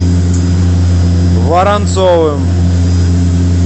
воронцовым